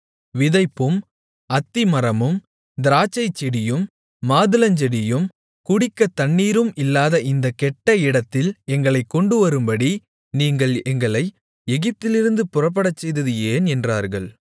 விதைப்பும் அத்திமரமும் திராட்சைச்செடியும் மாதுளஞ்செடியும் குடிக்கத்தண்ணீரும் இல்லாத இந்தக் கெட்ட இடத்தில் எங்களைக் கொண்டுவரும்படி நீங்கள் எங்களை எகிப்திலிருந்து புறப்படச்செய்தது ஏன் என்றார்கள்